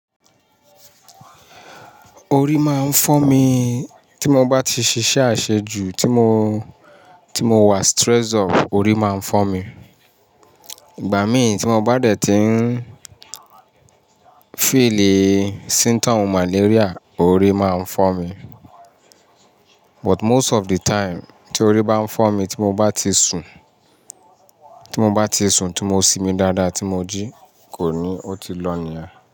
Orí máa ń fọ́ mi tí mo bá ti ṣiṣẹ́ ase ju, tí mo, tí mo wa stressed up, orí máa ń fọ́ mi. Ìgbà mí tí mo bá dẹ̀ tí ń feel symptoms malaria orí máa ń fọ́ mi. But most of the time tí orí bá ń fọ́ mi tí mo bá ti sun, tí mo bá ti sun, tí mo simi dáadáa, tí mo jí kò ní, ó ti lọ nìyẹn.